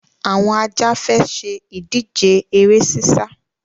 Àwọn Ajá fẹ́ ṣe ìdíje eré sísá.